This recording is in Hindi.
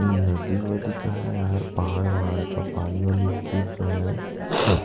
नदी-वदी का है यार पहाड़-वहाड़ का पानी-वानी गिर रहा है।